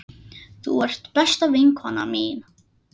Þú ert besta vinkona mín.